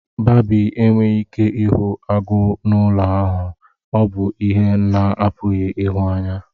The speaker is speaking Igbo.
Babi enweghị ike ịhụ agụ n'ụlọ ahụ, ọ bụ ihe a na-apụghị ịhụ anya.